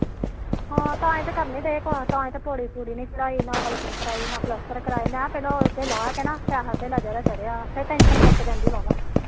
ਹਾ ਤਾਹੀ ਤਾ ਕਰਨ ਨੀ ਡੇ ਤਾਹੀ ਦਾ ਪੋੜੀ ਪੁੜੀ ਨੀ ਚੜਾਈ ਨਾ ਪਲਾਸਤਰ ਕਰਾਇਆ ਮੈ ਪਹਿਲੋ ਇਹ ਲਾਹ ਕੇ ਨਾ ਪੈਹਾ ਧੇਲਾ ਜਿੜਾ ਚੜਿਆਵਾ ਫਿਰ ਟੈਨਸ਼ਨ ਮੁਕ ਜਾਂਦੀ